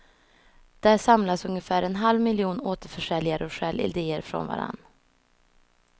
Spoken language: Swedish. Där samlas ungefär en halv miljon återförsäljare och stjäl ideer från varandra.